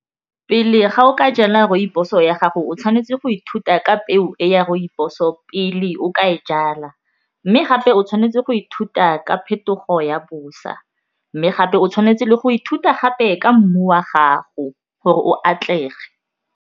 Pele ga o ka jala rooibos-o ya gago o tshwanetse go ithuta ka peo e ya rooibos-o pele o ka e jala mme gape o tshwanetse go ithuta ka phetogo ya bosa mme gape o tshwanetse le go ithuta gape ka mmu wa gago gore o atlege.